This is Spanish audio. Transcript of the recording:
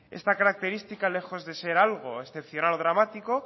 esta característica lejos de ser algo excepcional o dramático